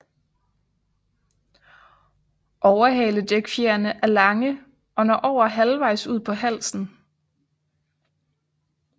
Overhaledækfjerene er lange og når over halvvejs ud på halen